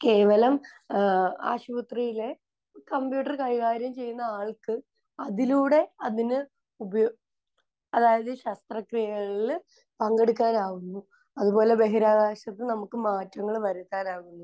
കേവലം ഏഹ് ആശുപത്രിയിലെ കമ്പ്യൂട്ടർ കൈകാര്യം ചെയ്യുന്ന ആൾക്ക് അതിലൂടെ അതിന് ഉപയോ...അതായത് ശസ്ത്രക്രിയകളിൽ പങ്കെടുക്കാനാകുന്നു. അത്പോലെ ബഹിരാകാശത്ത് നമുക്ക് മാറ്റങ്ങൾ വരുത്താനാകുന്നു.